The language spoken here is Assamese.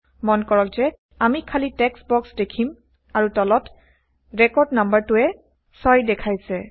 মন কৰক যে আমি খালি টেক্সট বক্স দেখিম আৰু তলতৰেকৰ্ড নাম্বাৰটোৱে 6 দেখাইছে